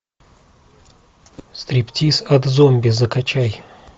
стриптиз от зомби закачай